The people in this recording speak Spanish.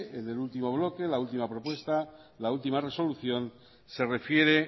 en el último bloque la ultima propuesta la última resolución se refiere